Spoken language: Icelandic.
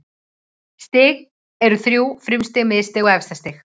Stig eru þrjú: frumstig, miðstig og efstastig.